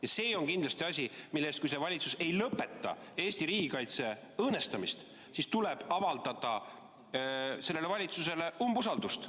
Ja see on kindlasti asi, mille eest tuleb, kui see valitsus ei lõpeta Eesti riigikaitse õõnestamist, avaldada sellele valitsusele umbusaldust.